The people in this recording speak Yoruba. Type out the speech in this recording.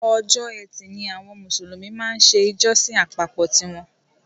Ọjọ́ ẹtì ni àwọn Mùsùlùmí máa ń ṣe ìjọsìn àpapọ̀ tí wọn.